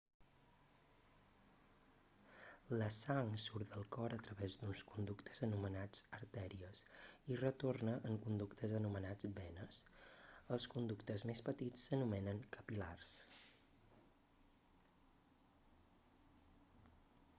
la sang surt del cor a través d'uns conductes anomenats artèries i hi retorna en conductes anomenats venes els conductes més petits s'anomenen capil·lars